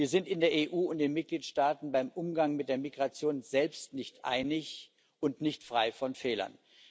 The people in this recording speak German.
Wir sind uns in der EU und in den Mitgliedstaaten beim Umgang mit der Migration selbst nicht einig und sind nicht frei von Fehlern.